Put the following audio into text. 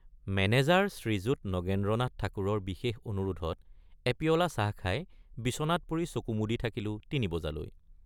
Manager Shriyut Nagendranath ঠাকুৰৰ বিশেষ অনুৰোধত এপিয়লা চাহ খাই বিচনাত পৰি চকু মুদি থাকিলো তিনি বজালৈ।